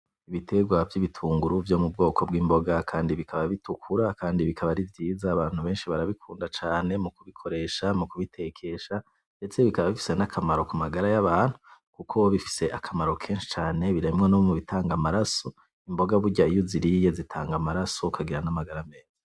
Ibitegwa vy'ibitunguru vyo mu bwoko bw'imboga kandi bikaba bitukura kandi bikaba ari vyiza abantu benshi barabikunda cane mu kubikoresha mu kubitekesha ndetse bikaba bifise akamaro kumagara y'abantu kuko bifise akamaro kenshi cane birimwo no mubitanga amaraso imboga burya iyo uziriya zitanga amaraso ukagira n'amagara meza.